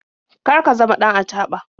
Kar ka zama ɗan acaɓa.